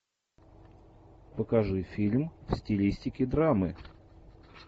покажи фильм в стилистике драмы